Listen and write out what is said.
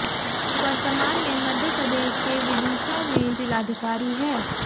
वर्तमान में मध्य प्रदेश के विदिशा में जिलाधिकारी है